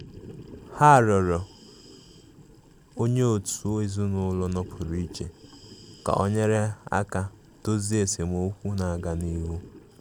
Ha rịọrọ onye otu ezinụlọ um nọpụrụ iche ka o um nyere aka dozie esemokwu na-aga n'ihu.